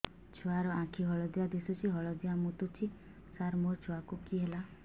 ଛୁଆ ର ଆଖି ହଳଦିଆ ଦିଶୁଛି ହଳଦିଆ ମୁତୁଛି ସାର ମୋ ଛୁଆକୁ କି ହେଲା